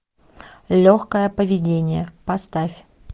легкое поведение поставь